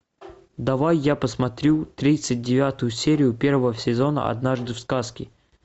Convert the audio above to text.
давай я посмотрю тридцать девятую серию первого сезона однажды в сказке